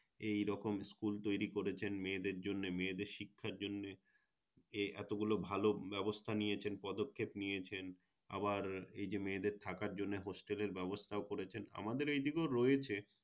এই রকম School তৈরী করেছেন মেয়েদের জন্যে মেয়েদের শিক্ষার জন্যে এ~ এতগুলো ভালো ব্যবস্থা নিয়েছেন পদক্ষেপ নিয়েছেন আবার এই যে মেয়েদের থাকার জন্যে Hostel এর ব্যবস্থাও করেছেন আমাদের এইদিকে ও রয়েছে